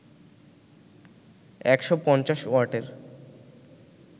১৫০ ওয়াটের